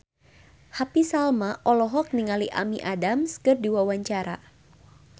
Happy Salma olohok ningali Amy Adams keur diwawancara